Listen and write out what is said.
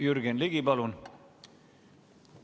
Jürgen Ligi, palun!